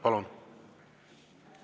Palun!